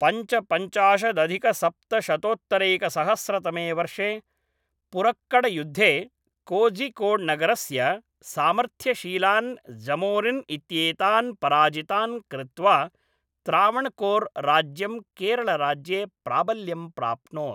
पञ्चपञ्चाशदधिकसप्तशतोत्तरैकसहस्रतमे वर्षे पुरक्कड्युद्धे कोझिकोड्नगरस्य सामर्थ्यशीलान् जमोरिन् इत्येतान् पराजितान् कृत्वा त्रावणकोर् राज्यं केरलराज्ये प्राबल्यं प्राप्नोत्।